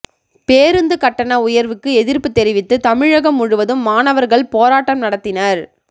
பேருந்து கட்டண உயர்வுக்கு எதிர்ப்பு தெரிவித்து தமிழகம் முழுவதும் மாணவர்கள் போராட்டம் நடத்தினர்